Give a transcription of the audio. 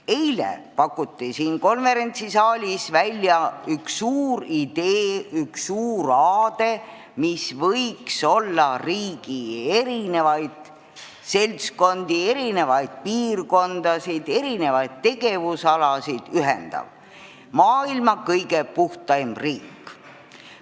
Eile pakuti siin konverentsisaalis välja üks suur idee, üks suur aade, mis võiks ühendada riigi erinevaid seltskondi, erinevaid piirkondasid, erinevaid tegevusalasid: me soovime olla maailma kõige puhtam riik.